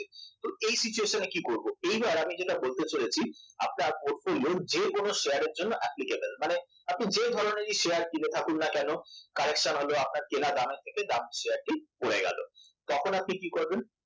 তো এই situation এ কি করব তো এবার আমি যেটা বলতে চলেছি আপনার portfolio যে কোন শেয়ারের জন্য applicable মানে আপনি যে ধরনের‌ই শেয়ার কিনে থাকুন না কেন correction হল আপনার কেনা দামের থেকে শেয়ারটি পড়ে গেল তখন আপনি কি করবেন